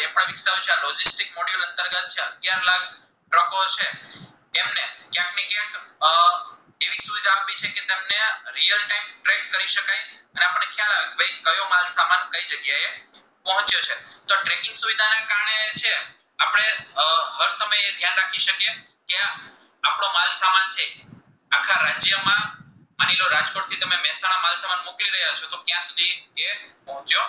ભોમિયો